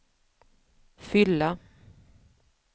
fylla